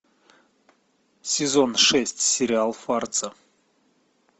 сезон шесть сериал фарца